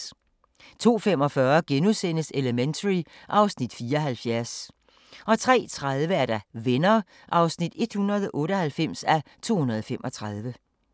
02:45: Elementary (Afs. 74)* 03:30: Venner (198:235)